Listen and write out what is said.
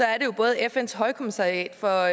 er jo både fns højkommissariat for